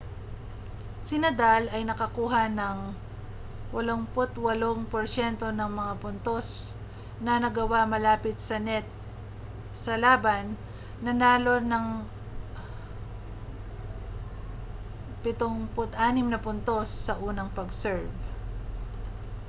si nadal ay nakakuha ng 88% ng mga puntos na nagawa malapit sa net sa laban nanalo ng 76 na puntos sa unang pag-serve